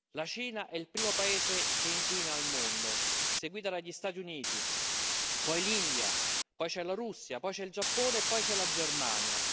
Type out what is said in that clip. La Cina è il primo paese che inquina al mondo, seguita dagli Stati Uniti, poi l'India, poi c'è la Russia, poi c'è il Giappone e poi c'è la Germania.